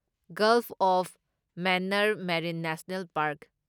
golf of Mannar marine national park